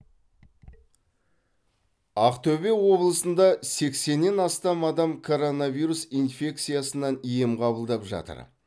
ақтөбе облысында сексеннен астам адам коронавирус инфекциясынан ем қабылдап жатыр